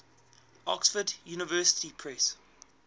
oxford university press